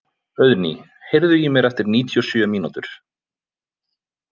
Auðný, heyrðu í mér eftir níutíu og sjö mínútur.